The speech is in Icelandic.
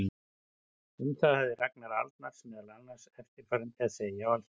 Um það hafði Ragnar Arnalds meðal annars eftirfarandi að segja á Alþingi